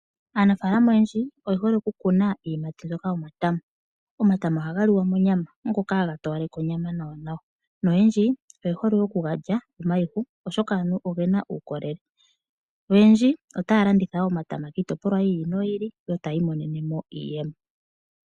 Aanafaalama oyendji oyehole okukuna iiyimati mbyoka yomatama. Omatama ohaga liwa monyama ngoka haga towaleke onyama nawanawa noyendji oyehole okugalya omayihu oshoka oge na uukolele. Oyendji otaya landitha omatama kiitopolwa yi ili noyi ili yo taya imonene mo iiyemo.